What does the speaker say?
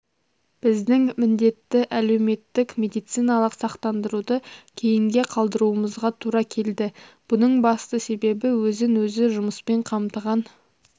біздің міндетті әлеуметтік медициналық сақтандыруды кейінге қалдыруымызға тура келді бұның басты себебі өзін өзі жұмыспен қамтыған